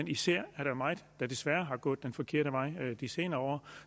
især er der meget der desværre er gået den forkerte vej de senere år